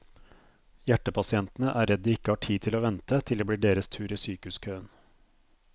Hjertepasientene er redd de ikke har tid til å vente til det blir deres tur i sykehuskøen.